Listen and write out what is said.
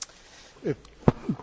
Panie Przewodniczący!